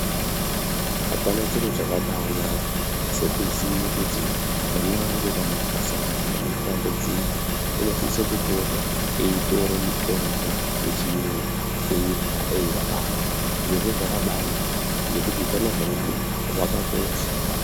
Apana chiro chakabanaka sekuziye kuti mwana wangu kana akasangana nematambudziko unosise kupota eitora mitombo yechiyungu eirya eirarama zvirozvo zvakabanaka ngekuti utano hwemwana hwakakosha.